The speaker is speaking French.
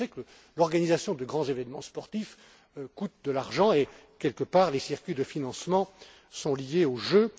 Je sais donc que l'organisation de grands événements sportifs coûte de l'argent et que, quelque part, les circuits de financement sont liés aux